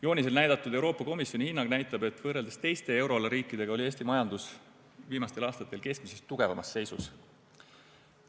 Joonisel näidatud Euroopa Komisjoni hinnang näitab, et võrreldes teiste euroala riikidega oli Eesti majandus viimastel aastatel keskmisest tugevamas seisus.